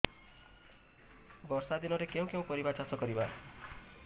ବର୍ଷା ଦିନରେ କେଉଁ କେଉଁ ପରିବା ଚାଷ କରିବା